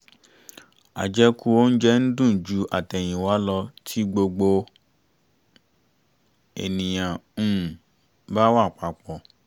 àjẹkù oúnjẹ ń dùn ju àtẹ̀yìnwá lọ tí gbogbo ènìyàn um bá wà papọ̀